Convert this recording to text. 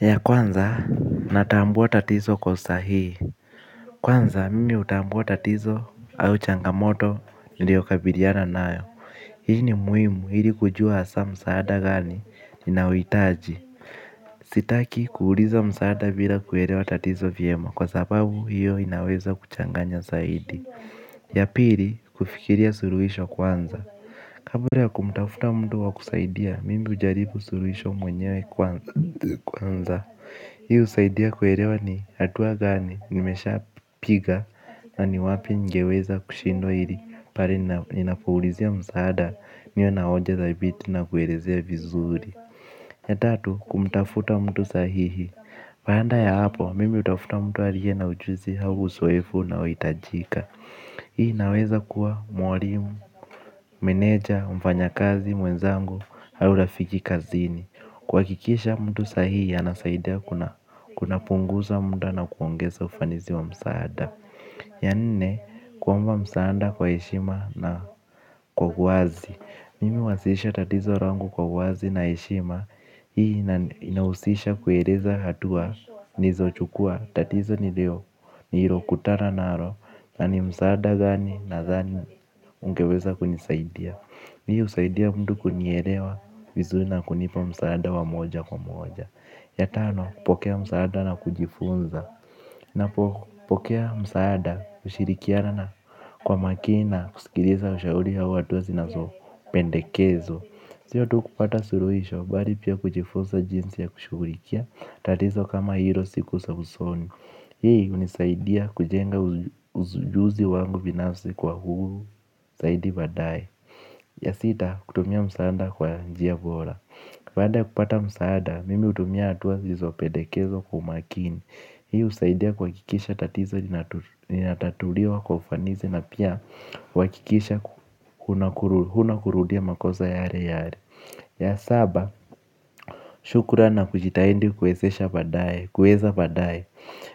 Ya kwanza natambuwa tatizo kwa usahihi. Kwanza mimi utambuwa tatizo au changamoto niliokabiliyana nayo. Hii ni muhimu hili kujua asa msaada gani ninaohitaji. Sitaki kuuliza msaada bila kuelewa tatizo vyema kwa sababu hiyo inaweza kuchanganya zaidi. Ya pili kufikiria suruhisho kwanza. Kabula ya kumtafuta mtu wakusaidia, mimi ujaribu suruhisho mwenyewe kwanza. Hii usaidia kuelewa ni hatua gani, nimesha piga, na ni wapi ngeweza kushindwa hili pahali ninapouulizia msaada, niwe naoje dhabiti na kuelezea vizuri. Ya tatu, kumtafuta mtu sahihi baada ya hapo, mimi utafuta mtu aliye na ujuzi au uzoefu unaohitajika. Hii inaweza kuwa mwalimu, meneja, mfanya kazi mwenzangu, au rafiki kazini. Kuhakikisha mtu sahihi anasaidia kuna punguza muda na kuongeza ufanizi wa msaada. Yanne, kuomba msaada kwa heshima na kwa wazi. Mimi wasisha tatizo langu kwa wazi na heshima. Hii inausisha kueleza hatua nizo chukua tatizo nilio nilio kutana nalo, na ni msaada gani nadhani ungeweza kunisaidia. Hii usaidia mtu kunielewa vizuri na kunipa msaada wa moja kwa moja. Ya tano kupokea msaada na kujifunza. Napo pokea msaada kushirikiana na kwa makina kusikiliza ushauri ya watu wa zinazo pendekezo. Sio tu kupata suruhisha bali pia kujifunza jinsi ya kushughlikia tatizo kama hilo siku za usoni. Hii unisaidia kujenga ujuzi wangu binafsi kwa uhuru, zaidi badae. Ya sita, kutumia msaada kwa njia bora. Baada ya kupata msaada, mimi utumia hatua zizopedekezo kwa umakini. Hii usaidia kuhakikisha tatizo linatatuliwa kwa ufanisi na pia kwa kikisha hunakurudia makosa yale yale. Ya saba, shukurani na kujitahidi kuezesha badae, kueza badae.